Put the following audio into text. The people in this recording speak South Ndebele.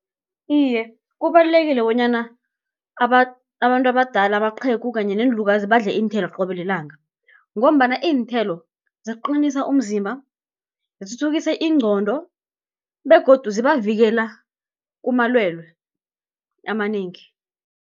Iye kubalulekile bonyana abantu abadala amaqhegu kanye neenlukazi badle iinthelo qobe lilanga, ngombana iinthelo ziqinisa umzimba, zithuthukise ingqondo, begodu zibavikela kumalwelwe amanengi.